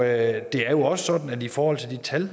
er jo også sådan at i forhold til de tal